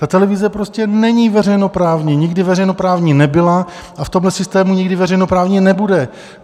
Ta televize prostě není veřejnoprávní, nikdy veřejnoprávní nebyla a v tomhle systému nikdy veřejnoprávní nebude.